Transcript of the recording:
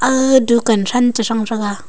dukan than che thang tega.